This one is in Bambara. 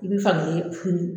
I bi fan gelen furu